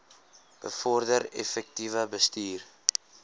bevorder effektiewe bestuur